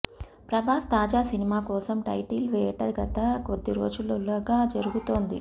ప్రభాస్ తాజా సినిమా కోసం టైటిల్ వేట గత కొద్ది రోజులుగా జరుగుతోంది